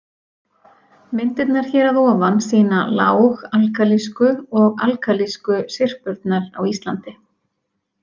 Myndirnar hér að ofan sýna lág-alkalísku og alkalísku syrpurnar á Íslandi.